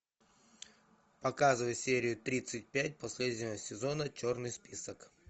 показывай серию тридцать пять последнего сезона черный список